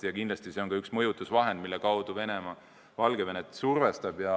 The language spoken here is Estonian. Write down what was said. Kindlasti see on ka üks mõjutusvahend, mille abil Venemaa Valgevenet survestab.